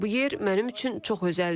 Bu yer mənim üçün çox özəldir.